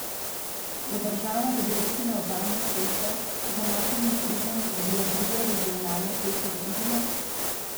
Bo država, da bi rešila obalno cesto, za Markovim hribom zgradila drugo regionalno cesto do Izole?